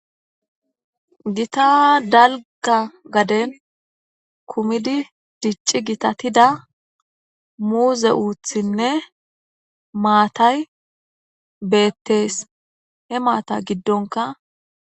Githa dalgga gaden kumidi dicci giththathida muuze uuththinne maathay beeththees; he maathaa giddonkka.